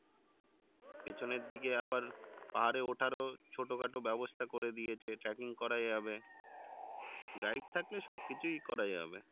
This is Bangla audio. পেছনের দিকে আবার পাহাড়ে ওঠার ছোট খাটো বেবস্থা করে দিয়েছে tracking করা যাবে guide থাকলে সবকিছুই করা যাবে